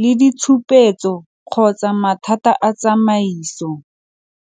le ditshupetso kgotsa mathata a tsamaiso.